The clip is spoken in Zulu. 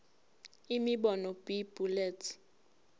imibono b bullets